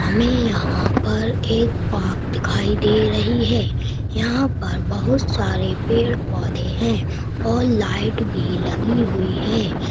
हमे यहाँ पर एक पार्क दिखाई दे रही है यहाँ पर बहोत सारे पेड़-पौधे हैं और लाइट भी लगी हुई है।